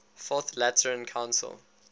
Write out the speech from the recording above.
fourth lateran council